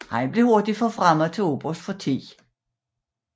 Han blev hurtigt forfremmet til oberst for 10